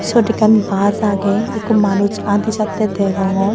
Siyot ekka bus age ekko manus adi jatte degongnor.